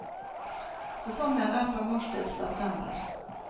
Sesongen er fra mars til september.